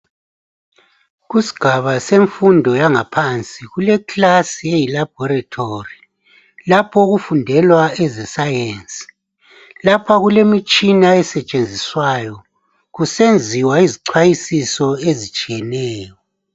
Kusigaba semfundo yangaphansi kule class eyi laboratory. Lapho okufundelwa eze Science , lapha kulemitshina esetshenziswayo kusenziwa izichwayisiso ezitshiyeneyo.